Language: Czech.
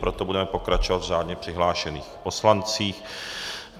Proto budeme pokračovat v řádně přihlášených poslancích.